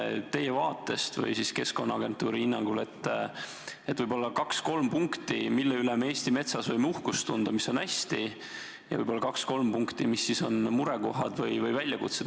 Lähtudes teie enda vaatest või Keskkonnaagentuuri hinnangust, siis võib-olla nimetate kaks-kolm punkti, mille üle me Eesti metsa puhul võime uhkust tunda, mis on hästi, ja võib-olla kaks-kolm punkti, mis on meie jaoks murekohad või väljakutsed.